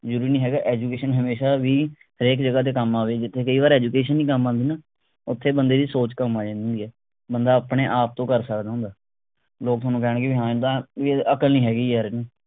ਜਰੂਰੀ ਨਹੀਂ ਹੈਗਾ education ਹਮੇਸ਼ਾ ਵੀ ਹਰੇਕ ਜੱਗਹ ਤੇ ਕੰਮ ਆਵੇ ਜਿਥੇ ਕਈ ਵਾਰੀ education ਨਹੀਂ ਕੰਮ ਆਂਦੀ ਨਾ ਓਥੇ ਬੰਦੇ ਦੀ ਸੋਚ ਕੰਮ ਆ ਜਾਂਦੀ ਹੁੰਦੀ ਹੈ ਬੰਦਾ ਆਪਣੇ ਆਪ ਤੋਂ ਕਰ ਸਕਦਾ ਹੁੰਦਾ। ਲੋਕ ਥੋਨੂੰ ਕਹਿਣਗੇ ਵੀ ਇੱਦਾਂ ਵੀ ਅਕਲ ਨਹੀਂ ਹੈਗੀ ਯਾਰ ਇਹਨੂੰ